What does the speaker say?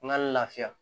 N ka lafiya